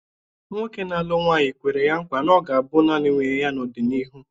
Nwoke na-alụ nwanyị kwere ya nkwa na ọ ga-abụ nanị nwunye ya n'ọdịnihu.